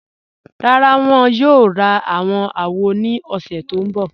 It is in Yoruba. Rárá, wọn yóò rá àwọn àwò ni ọ̀ṣẹ̀ tó nbọ̀.